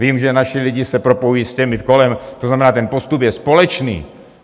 Vím, že naši lidi se propojují s těmi kolem, to znamená ten postup je společný.